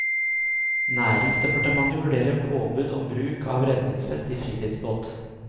Næringsdepartementet vurderer påbud om bruk av redningsvest i fritidsbåt.